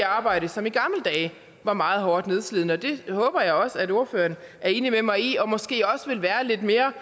arbejde som i gamle dage var meget hårdt nedslidende og det håber jeg også ordføreren er enig med mig i og måske også vil være lidt mere